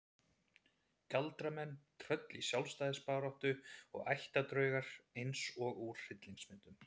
Galdramenn, tröll í sjálfstæðisbaráttu og ættardraugar eins og úr hryllingsmyndum.